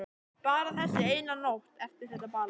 Bara þessi eina nótt eftir þetta ball.